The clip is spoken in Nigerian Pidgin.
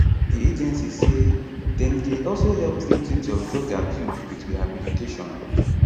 di agency say dem dey also help victims of drug abuse with rehabilitation